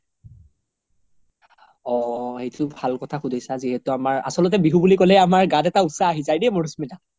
অ অ সেইতো ভাল কথা সুধিছা যিহেতু আমাৰ আচল্তে বিহু বুলি ক্'লে আমাৰ গাত এটা উত্সাহ আহি যাই দে মাধুস্মিতা